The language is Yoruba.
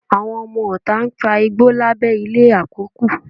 Àwọn ọmọọta ń fa igbó lábẹ́ ilé àkọ́kù